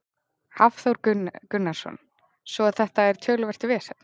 Hafþór Gunnarsson: Svo að þetta er töluvert vesen?